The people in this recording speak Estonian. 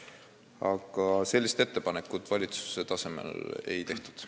Aga sellist ettepanekut valitsuse tasemel ei tehtud.